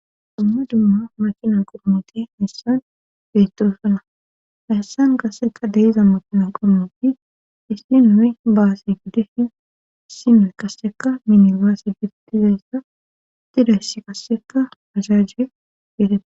Dumma dumma makina qormoti hessan beturoosana hayssan kasseka deiza makina qormoti dissinowe baasi giddeshin issinoe kasseka minibaasi gidtizayssa tidayss kasseka ajajjie gete